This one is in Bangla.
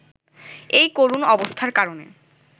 এই করুণ অবস্থার কারণে